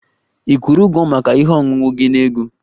Ị kwụrụ ụgwọ maka ihe ọṅụṅụ gị na ego?